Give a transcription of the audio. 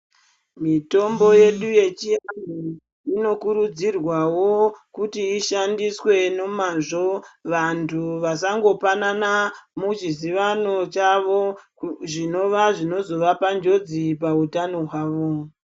Mitomb yedu yechiantu inokurudzirwawo kuti ishandiswe nomazvo vantu vasangopanana muzvizivano zvavo zvinova zvinozovapa njodzi pautano hwavo.